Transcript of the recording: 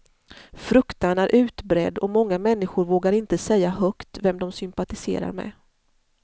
Fruktan är utbredd, och många människor vågar inte säga högt vem de sympatiserar med.